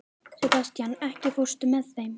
Sebastian, ekki fórstu með þeim?